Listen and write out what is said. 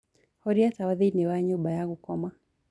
horĩa tawa thĩĩni wa nyumba ya gũkoma